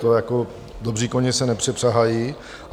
To jako dobří koně se nepřepřahají.